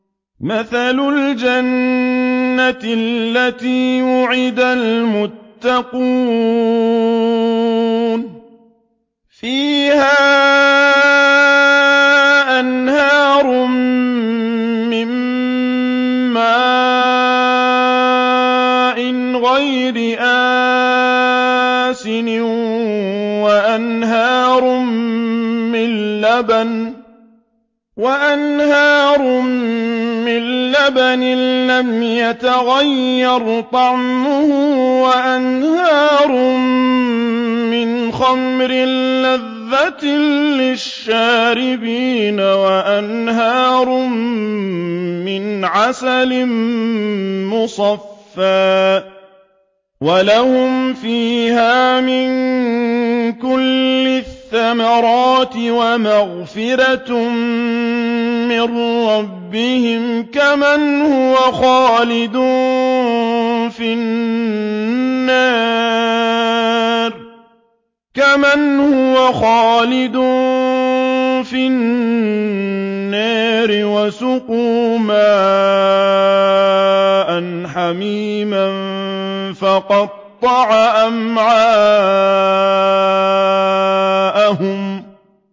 مَّثَلُ الْجَنَّةِ الَّتِي وُعِدَ الْمُتَّقُونَ ۖ فِيهَا أَنْهَارٌ مِّن مَّاءٍ غَيْرِ آسِنٍ وَأَنْهَارٌ مِّن لَّبَنٍ لَّمْ يَتَغَيَّرْ طَعْمُهُ وَأَنْهَارٌ مِّنْ خَمْرٍ لَّذَّةٍ لِّلشَّارِبِينَ وَأَنْهَارٌ مِّنْ عَسَلٍ مُّصَفًّى ۖ وَلَهُمْ فِيهَا مِن كُلِّ الثَّمَرَاتِ وَمَغْفِرَةٌ مِّن رَّبِّهِمْ ۖ كَمَنْ هُوَ خَالِدٌ فِي النَّارِ وَسُقُوا مَاءً حَمِيمًا فَقَطَّعَ أَمْعَاءَهُمْ